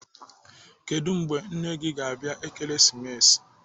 Kedụ mgbe nne nne gị ga-abịa Ekeresimesi?